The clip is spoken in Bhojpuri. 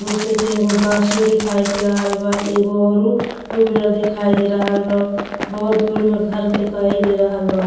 दो से तीन गो गाच्छियों देखाई दे रहल बा। एगो औरु टू व्हीलर देखाई दे रहल बा। बहुत दूर में घर देखाई दे रहल बा।